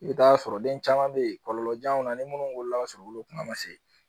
I bɛ t'a sɔrɔ den caman bɛ yen kɔlɔlɔjanw na ni minnu wulila ka sɔrɔ olu kuma ma se